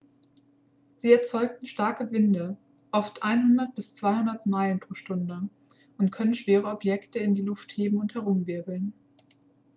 sie erzeugen starke winde oft 100-200 meilen/stunde und können schwere objekte in die luft heben und herumwirbeln